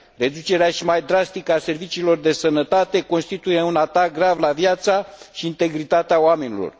Reducerea și mai drastică a serviciilor de sănătate constituie un atac grav la viața și integritatea oamenilor.